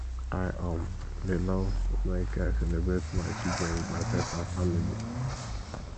i um dey love make i celebrate my achievement with my friends and family